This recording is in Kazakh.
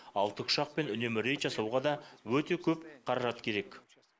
ал тікұшақпен үнемі рейд жасауға да өте көп қаражат керек